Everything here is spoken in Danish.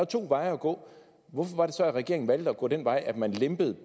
to veje at gå hvorfor var det så at regeringen valgte at gå den vej at man lempede